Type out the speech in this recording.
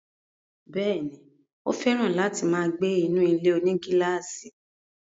Bẹ́ẹ̀ni, ó fẹ̀ràn láti máa gbé inú ilé-onígílàsì